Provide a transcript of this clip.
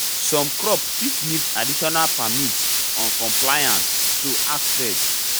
some crop fit need additional permits on compliance so ask first